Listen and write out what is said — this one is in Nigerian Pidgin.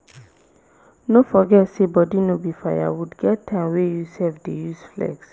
no forget sey body no be firewood get time wey you sef dey use flex